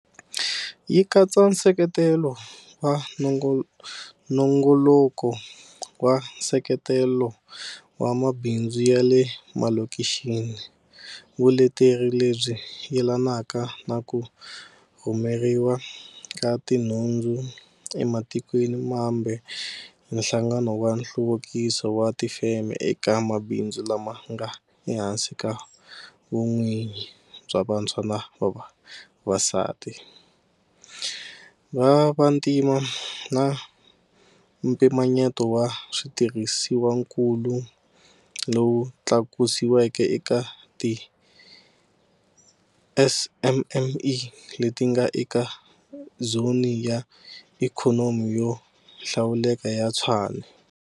Yi katsa nseketelo wa nongoloko wa nseketelo wa mabindzu ya le malokixini, vuleteri lebyi yelanaka na ku rhumeriwa ka tinhundzu ematikweni mambe hi Nhlangano wa Nhluvukiso wa Tifeme eka mabindzu lama nga ehansi ka vun'wini bya vantshwa na vavasati, va vantima, na mpimanyeto wa switirhisiwakulu lowu tlakusiweke eka ti SMME leti nga eka Zoni ya Ikhonomi yo Hlawuleka ya Tshwane.